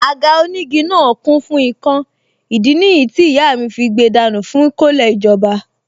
Àga onígi náà kún fún ikán ìdí nìyí tí ìyá fí gbe dànù fún kọ́lẹ̀ ìjọba